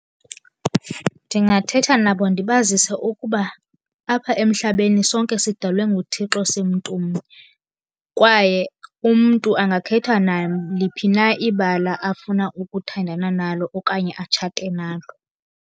Ndingathetha nabo ndibazise ukuba apha emhlabeni sonke sidalwe nguThixo simntumnye, kwaye umntu angakhetha naliphi na ibala afuna ukuthandana nalo okanye atshate nalo.